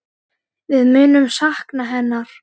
Við munum sakna hennar.